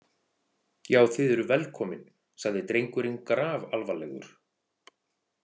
Já, þið eruð velkomin, sagði drengurinn grafalvarlegur.